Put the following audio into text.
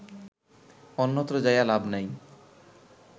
অন্যত্র যাইয়া লাভ নাই